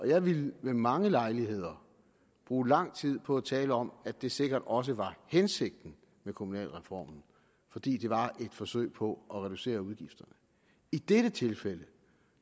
jeg ville ved mange lejligheder bruge lang tid på at tale om at det sikkert også var hensigten med kommunalreformen fordi det var et forsøg på at reducere udgifterne i dette tilfælde